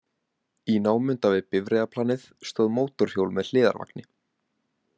Í námunda við bifreiðaplanið stóð mótorhjól með hliðarvagni.